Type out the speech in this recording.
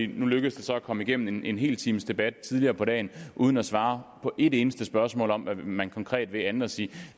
nu lykkedes det så at komme igennem en hel times debat tidligere på dagen uden at svare på et eneste spørgsmål om hvad man konkret vil man siger